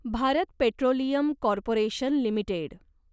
Bharat petroleum corporation limited